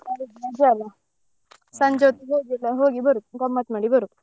ಹೌದು ರಜೆಯಲ್ಲ ಹೊತ್ತಿಗೆ ಹೋಗುದು ಗಮ್ಮತ್ ಮಾಡಿ ಬರುದು.